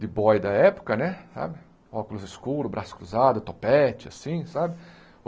de boy da época né, sabe óculos escuros, braço cruzado, topete, assim, sabe?